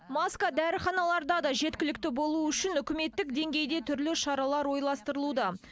маска дәріханаларда да жеткілікті болуы үшін үкіметтік деңгейде түрлі шаралар ойластырылуда